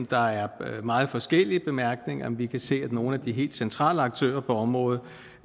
der er meget forskellige bemærkninger vi kan se at nogle af de helt centrale aktører på området